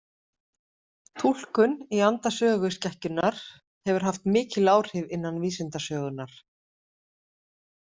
Túlkun í anda söguskekkjunnar hefur haft mikil áhrif innan vísindasögunnar.